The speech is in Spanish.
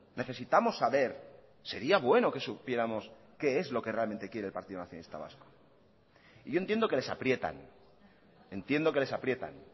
necesitamos saber sería bueno que supiéramos qué es lo que realmente quiere el partido nacionalista vasco y yo entiendo que les aprietan entiendo que les aprietan